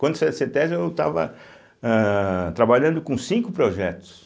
Quando sai da cêtésbe, eu estava âh trabalhando com cinco projetos.